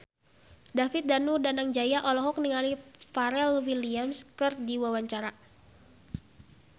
David Danu Danangjaya olohok ningali Pharrell Williams keur diwawancara